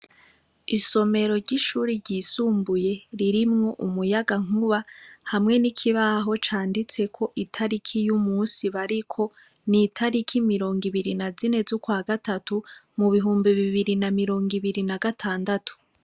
Isomero ry'ishuri ryisumbuye ririmwo umuyaga nkuba hamwe n'ikibaho canditseko itariki y’umusi bariko nitariki mirongo ibiri na zine z'ukwa gatatu mu bihumbi bibiri na mirongo ibiri na gatandatu.